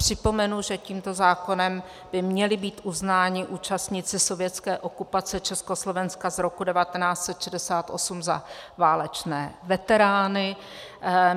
Připomenu, že tímto zákonem by měli být uznáni účastníci sovětské okupace Československa z roku 1968 za válečné veterány.